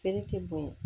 Feere tɛ bonya